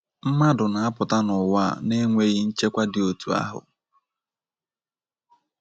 Mmadụ na - apụta n’ụwa a n’enweghị nchekwa dị otu ahụ....